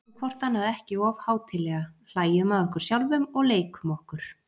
Tökum hvort annað ekki of hátíðlega, hlæjum að okkur sjálfum og leikum okkur.